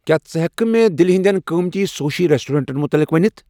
کیا ژٕ ہیکِہ کھہ مے دہلی ہندین قٕمتی سوشی ریسٹورینٹن مُطلق ؤنِتھ ؟